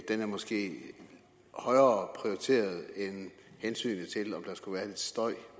den er måske højere prioriteret end hensynet til om der skulle være lidt støj